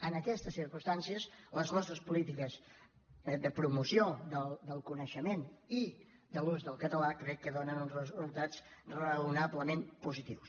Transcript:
en aquestes circumstancies les nostres polítiques de promoció del coneixement i del l’ús del català crec que donen uns resultats raonablement positius